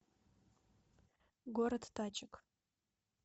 город тачек